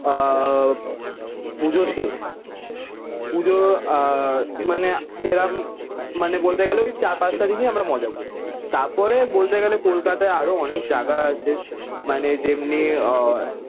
আহ পুজো শেষ। পুজো আহ মানে সেরাম মানে বলতে গেলে ওই চার-পাঁচটা দিনই আমরা মজা করি। তারপরে বলতে গেলে কলকাতায় আরো অনেক জায়গা আছে মানে যেমনি আহ